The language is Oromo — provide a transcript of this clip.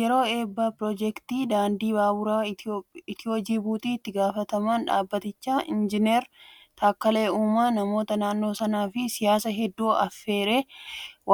Yeroo eebba piroojeektii daandii baaburaa Itiyoo-Jibuutii itti gaafatamaan dhaabbatichaa injinar Taakkalee Uumaan namoota naannoo sanaa fi siyaasaa hedduu affeeree